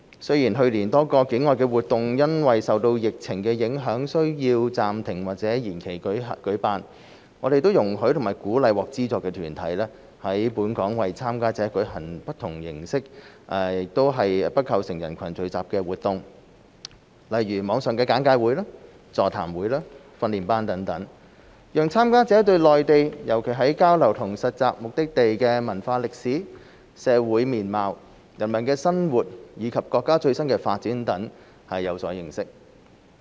雖然去年多個境外活動因受疫情影響需要暫停或延期舉辦，我們容許和鼓勵獲資助團體在本港為參加者舉行不同形式、且不構成人群聚集的活動，如網上簡介會、座談會、訓練班等，讓參加者對內地，尤其交流/實習目的地的文化歷史、社會面貌、人民生活，以及國家最新發展等有所認識。